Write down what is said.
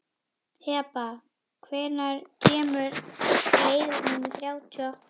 Heba, hvenær kemur leið númer þrjátíu og átta?